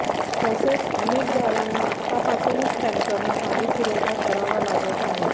तसेच अनेसक गावांना आत्तापासूनच टँकरनं पाणीपुरवठा करावा लागत आहे